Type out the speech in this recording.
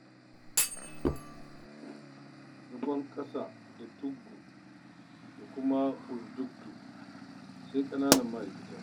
Zagon ƙasa da tuggu da kuma kunduttu sai ƙananan ma'aikata.